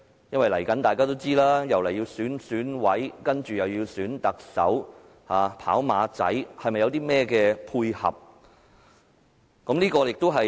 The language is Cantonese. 因為大家也知道，未來又要選舉選委，接着是選特首，"跑馬仔"，是否要配合甚麼目的？